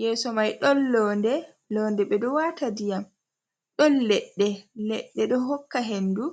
yeso mai ɗon londe, londe ɓe ɗo wata ndiyam ɗon leɗɗe, leɗɗe ɗo hokka hendu.